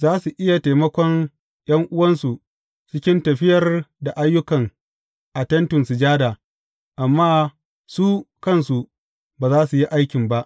Za su iya taimakon ’yan’uwansu cikin tafiyar da ayyuka a Tentin Sujada, amma su kansu ba za su yi aikin ba.